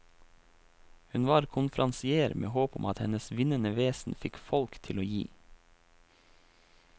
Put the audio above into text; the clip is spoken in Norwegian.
Hun var konferansier med håp om at hennes vinnende vesen fikk folk til å gi.